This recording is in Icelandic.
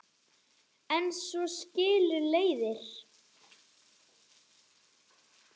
En svo skilur leiðir.